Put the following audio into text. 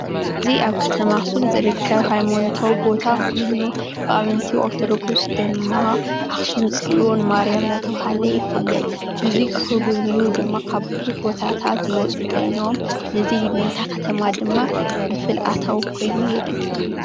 እዚ ኣብ ኸተማ ኣኽሱም ዝርከብ ሃይማኖታዊ ቦታ ኾይኑ አመንቲ ኦሮቶዶክስ ድማ ኣኽሲም ፅዩን ማርያም እናተብሃለ ይፍለጥ። ነዙይ ክጉብንዩ ድማ ካብ ቡዙሓት ኸባብታት ዝመፁ ኾይኖም እዙይ ነታ ኸተማ ድማ ፍልፍል ኣታዌ ኮይኑ የገልግል።